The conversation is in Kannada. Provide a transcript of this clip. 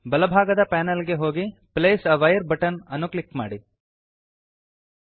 ಬಲಭಾಗದ ಪಾನಲ್ ಗೆ ಹೋಗಿ place a wire button place a wire button ಅನ್ನು ಕ್ಲಿಕ್ ಮಾಡಿ